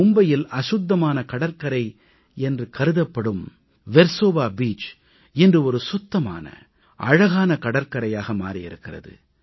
மும்பையில் அசுத்தமான கடற்கரை என்று கருதப்படும் வெர்சோவா பீச் இன்று சுத்தமான அழகான கடற்கரையாக மாறி இருக்கிறது